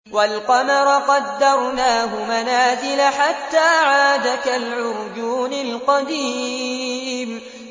وَالْقَمَرَ قَدَّرْنَاهُ مَنَازِلَ حَتَّىٰ عَادَ كَالْعُرْجُونِ الْقَدِيمِ